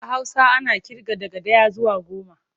A Hausa ana ƙirga daga ɗaya zuwa goma.